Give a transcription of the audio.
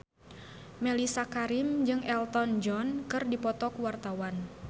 Mellisa Karim jeung Elton John keur dipoto ku wartawan